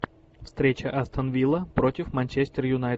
встреча астон вилла против манчестер юнайтед